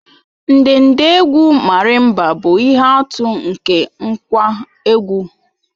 Ndedegwu Marimba bụ ihe atụ nke ngwá egwú